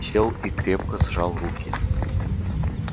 сел и крепко сжал руки